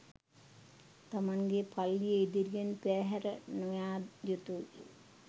තමන්ගේ පල්ලිය ඉදිරියෙන් පෙරහැර නොයා යුතුයි